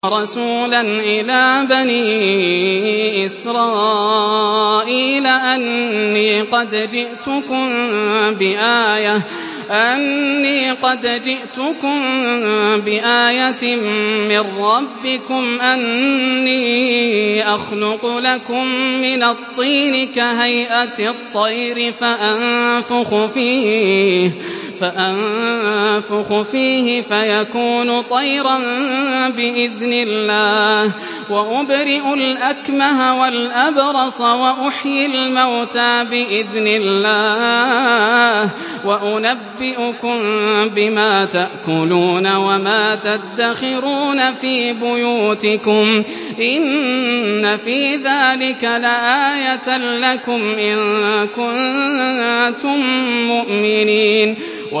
وَرَسُولًا إِلَىٰ بَنِي إِسْرَائِيلَ أَنِّي قَدْ جِئْتُكُم بِآيَةٍ مِّن رَّبِّكُمْ ۖ أَنِّي أَخْلُقُ لَكُم مِّنَ الطِّينِ كَهَيْئَةِ الطَّيْرِ فَأَنفُخُ فِيهِ فَيَكُونُ طَيْرًا بِإِذْنِ اللَّهِ ۖ وَأُبْرِئُ الْأَكْمَهَ وَالْأَبْرَصَ وَأُحْيِي الْمَوْتَىٰ بِإِذْنِ اللَّهِ ۖ وَأُنَبِّئُكُم بِمَا تَأْكُلُونَ وَمَا تَدَّخِرُونَ فِي بُيُوتِكُمْ ۚ إِنَّ فِي ذَٰلِكَ لَآيَةً لَّكُمْ إِن كُنتُم مُّؤْمِنِينَ